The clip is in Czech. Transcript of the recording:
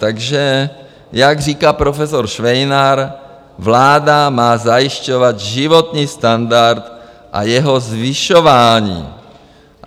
Takže jak říká profesor Švejnar, vláda má zajišťovat životní standard a jeho zvyšování.